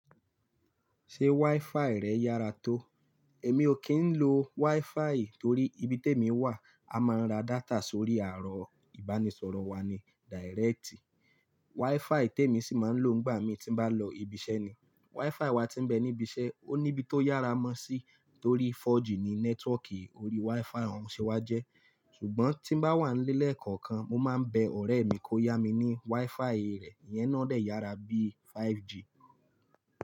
Ṣé wifi rẹ yára tó? Èmi ò kí ń lo wifi torí ibi témi wà, a máa ń ra data sórí arọ ìbánisọ̀rọ̀ wa ni direct. Wifi tèmi sì máa ń lò nígbà mí tí n bá lọ ibi iṣẹ́ ni. Wifi wa tí ń bẹ níbi iṣẹ́, ó ní bí tó yára mọ́ sí torí 4G ni nẹ́tíwọ̀kì orí wifi òun ṣewá jẹ́. Ṣùgbọ́n tí n bá wà nlé lẹkọọkan, mo máa ń bẹ ọ̀rẹ́ mi kó yá mi ní wifi rẹ̀, ìyẹn náà dẹ yára bíi 5G.